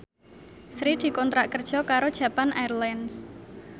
Sri dikontrak kerja karo Japan Airlines